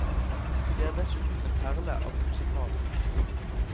Det er dessuten en perle av en musical.